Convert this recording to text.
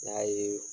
N'a ye